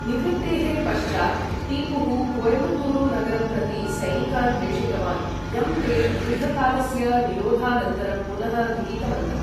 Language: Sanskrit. निवृत्तेः पश्चात्, टीपुः कोयम्बत्तूरु नगरं प्रति सैनिकान् प्रेषितवान्, यं ते दीर्घकालस्य निरोधानन्तरं पुनः गृहीतवन्तः।